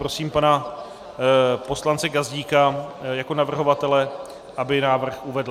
Prosím pana poslance Gazdíka jako navrhovatele, aby návrh uvedl.